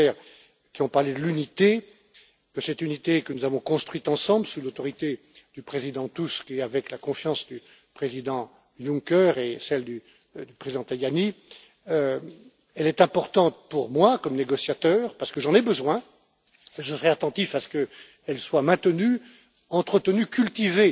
et à M. Weber, qui ont parlé de l'unité, que cette unité que nous avons construite ensemble, sous l'autorité du Président Tusk et avec la confiance du Président Juncker et celle du Président Tajani, est importante pour moi comme négociateur parce que j'en ai besoin et que je serai attentif à ce qu'elle soit maintenue, entretenue,